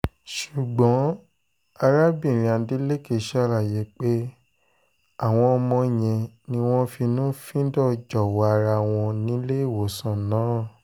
ṣùgbọ́n arábìnrin adeleke ṣàlàyé pé àwọn ọmọ yẹn ni wọ́n finú-fíndọ̀ jọ̀wọ́ ara wọn nílé ìwòsàn náà